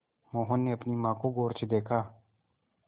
मोहन ने अपनी माँ को गौर से देखा